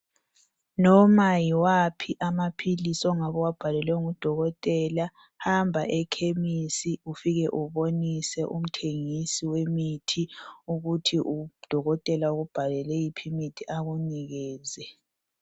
Noma yiwaphi amaphilisi ongabe uwabhalelwe ngudokotela, hamba ekhemisi ufike ubonise umthengisi wemithi ukuthi udokotela ukubhalele yiphi imithi akunikeze.